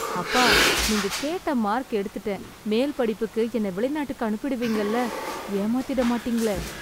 அப்பா, நீங்க கேட்ட மார்க் எடுத்துட்டேன்... மேல்படிப்புக்கு என்னை வெளிநாட்டுக்கு அனுப்பிடுவீங்கல்ல? ஏமாத்திட மாட்டீங்களே...